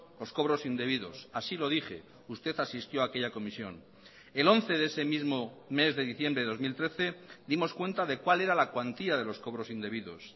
los cobros indebidos así lo dije usted asistió aquella comisión el once de ese mismo mes de diciembre de dos mil trece dimos cuenta de cuál era la cuantía de los cobros indebidos